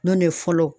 N'o de ye fɔlɔ